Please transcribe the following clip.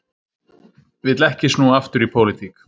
Vill ekki snúa aftur í pólitík